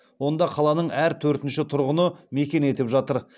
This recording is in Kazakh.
онда қаланың әр төртінші тұрғыны мекен етіп жатыр